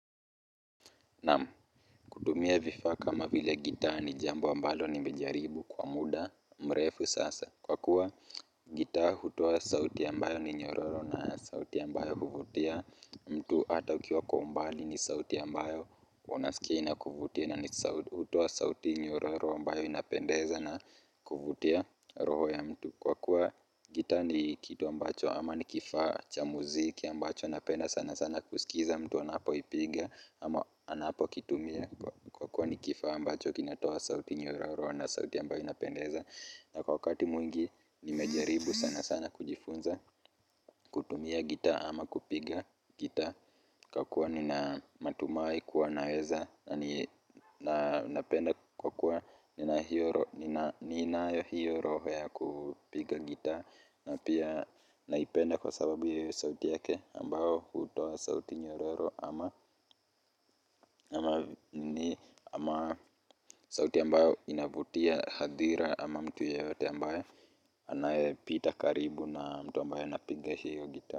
Naam kutumia vifaa kama vile gitaa ni jambo ambalo nimejaribu kwa muda mrefu sasa kwa kuwa gitaa hutoa sauti ambayo ni nyororo na sauti ambayo huvutia mtu hata ukiwa kwa umbali ni sauti ambayo unasikia inakuvutia na hutoa sauti nyororo ambayo inapendeza na kuvutia roho ya mtu kwa kuwa gitaa ni kitu ambacho ama ni kifaa cha muziki ambacho napenda sana sana kusikiza mtu anapoigipa ama anapokitumia kwa kuwa ni kifaa ambacho kinatoa sauti nyororo na sauti ambayo inapendeza na wakati mwingi nimejaribu sana sana kujifunza kutumia gita ama kupiga gitaa kwa kuwa nina matumahi kuwa naeza na napenda kwa kuwa ninayo hiyo roho ya kupiga gitaa na pia naipenda kwa sababu sauti yake ambayo hutoa sauti nyororo ama sauti ambayo inavutia hadhira ama mtu yeyote ambayo anayepita karibu na mtu ambaye anapiga hiyo gitaa.